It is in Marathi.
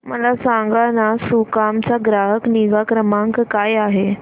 मला सांगाना सुकाम चा ग्राहक निगा क्रमांक काय आहे